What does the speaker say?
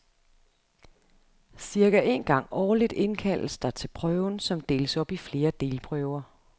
Cirka en gang årligt indkaldes der til prøven, som deles op i flere delprøver.